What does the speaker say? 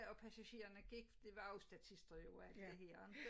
Og passagererne gik for det var jo statister jo alt det her ikke